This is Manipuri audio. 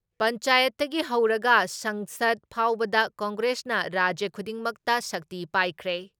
ꯄꯟꯆꯥꯌꯠꯇꯒꯤ ꯍꯧꯔꯒ ꯁꯪꯁꯠ ꯐꯥꯎꯕꯗ ꯀꯪꯒ꯭ꯔꯦꯁꯅ ꯔꯥꯖ꯭ꯌ ꯈꯨꯗꯤꯡꯃꯛꯇ ꯁꯛꯇꯤ ꯄꯥꯏꯈ꯭ꯔꯦ ꯫